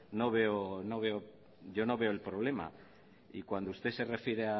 yo no veo el problema y cuando usted se refiere